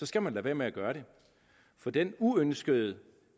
skal man lade være med at gøre det for den uønskede